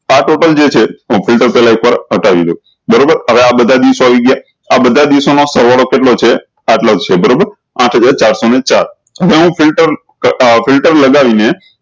આ total જે છે પેહલા હતાવી દો બરોબર હવે આ બધા દિવસો આવી ગયા આ બધા દિવસો નો સરવાળો કેટલો છે આટલો જ છે બરોબર આઠ હજાર ચાર સૌ ને ચાર ફિલ્ટર ફિલ્ટર લગાવી ને